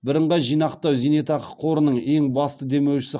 бірынғай зейнетақы жинақтау қорының ең басты демеушісі